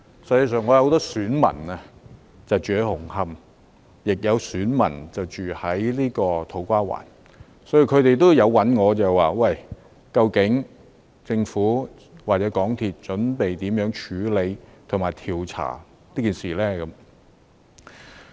事實上，我有很多選民居住在紅磡和土瓜灣，他們也有問我究竟政府或香港鐵路有限公司準備如何處理和調查事件。